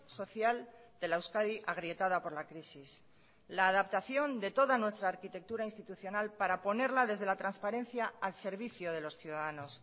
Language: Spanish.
social de la euskadi agrietada por la crisis la adaptación de toda nuestra arquitectura institucional para ponerla desde la transparencia al servicio de los ciudadanos